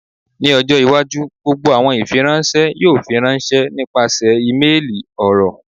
Ni ọjọ iwaju gbogbo awọn ifiranṣẹ yoo firanṣẹ nipasẹ imeeli, ọrọ